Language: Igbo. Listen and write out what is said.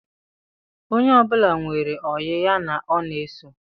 Onye ọbụla nwere oyi ya ọ na-eso